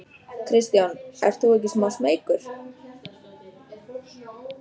Kristján: Ert þú ekki smá smeykur?